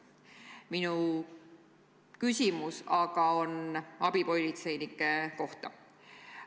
Minu küsimus on abipolitseinike kohta.